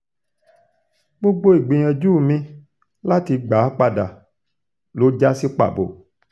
gbogbo ìgbìyànjú mi láti gbà á padà ló já sí pàbó